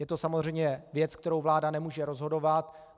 Je to samozřejmě věc, kterou vláda nemůže rozhodovat.